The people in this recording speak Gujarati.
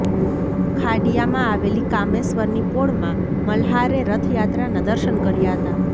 ખાડિયામાં આવેલી કામેશ્વરની પોળમાં મલ્હારે રથયાત્રાના દર્શન કર્યા હતા